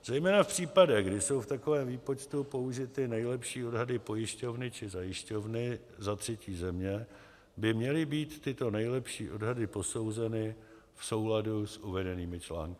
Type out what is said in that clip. Zejména v případech, kdy jsou v takovém výpočtu použity nejlepší odhady pojišťovny či zajišťovny ze třetí země, by měly být tyto nejlepší odhady posouzeny v souladu s uvedenými články.